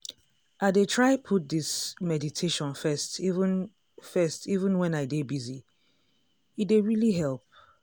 i dey try put this meditation first even first even when i dey busy- e dey really help.